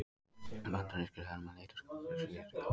Bandarískir hermenn leita skjóls við skriðdreka.